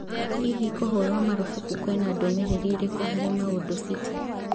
Hihi, kũhũrwo marubuku kwĩna ndũmĩrĩri ĩrĩkũ harĩ Maũndũ City ?